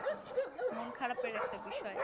মন খারাপের একটা বিষয়